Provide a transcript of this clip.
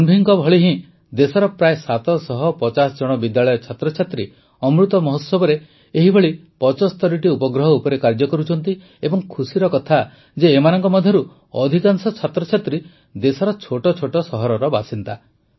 ତନଭିଙ୍କ ଭଳି ଦେଶର ପ୍ରାୟ ୭୫୦ ଜଣ ବିଦ୍ୟାଳୟ ଛାତ୍ରଛାତ୍ରୀ ଅମୃତ ମହୋତ୍ସବରେ ଏହିଭଳି ୭୫ଟି ଉପଗ୍ରହ ଉପରେ କାର୍ଯ୍ୟ କରୁଛନ୍ତି ଏବଂ ଖୁସିର କଥା ଯେ ଏମାନଙ୍କ ମଧ୍ୟରୁ ଅଧିକାଂଶ ଛାତ୍ରଛାତ୍ରୀ ଦେଶର ଛୋଟ ଛୋଟ ସହରର ବାସିନ୍ଦା